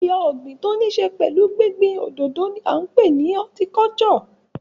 Ẹ̀yà ọ̀gìn tí ó ní ṣe pẹ̀lú gbín gbín òdòdó ni à ń pè ní horticulture.